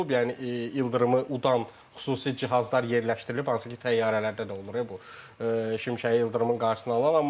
Yəni ildırımı udan xüsusi cihazlar yerləşdirilib, hansı ki, təyyarələrdə də olur bu şimşəyi ildırımın qarşısına alan.